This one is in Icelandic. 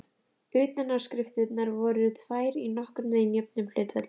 Utanáskriftirnar voru tvær í nokkurn veginn jöfnum hlutföllum.